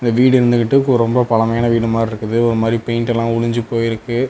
வீடு இருந்துகிட்டு ரொம்ப பழமையான வீடு மார்ருக்குது ஒரு மாறி பெயிண்டெள்ள உளுஞ்சு போயிருக்கு.